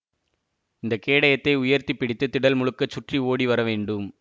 இந்த கேடயத்தை உயர்த்தி பிடித்து திடல் முழுக்கச் சுற்றி ஓடி வரவேண்டும்